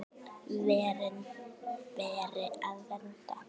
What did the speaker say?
Verin beri að vernda.